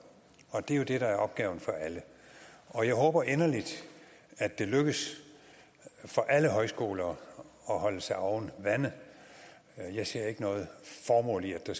det er jo det der er opgaven for alle og jeg håber inderligt at det lykkes for alle højskoler at holde sig oven vande jeg ser ikke noget formål i at